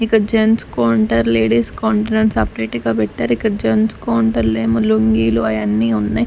ఇక్కడ gents counter ladies counter అని separate గా పెట్టారు ఇక్కడ జెంట్స్ కౌంటర్ లో ఏమో లుంగీలు అయన్నీ ఉన్నాయి.